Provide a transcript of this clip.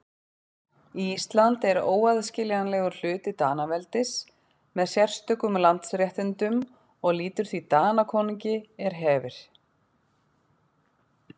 Ísland er óaðskiljanlegur hluti Danaveldis með sérstökum landsréttindum og lýtur því Danakonungi er hefir.